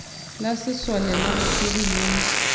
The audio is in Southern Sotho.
la sesole la bothori le